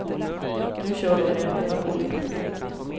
Nu kör de med öppna kort.